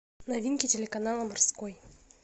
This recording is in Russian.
новинки телеканала морской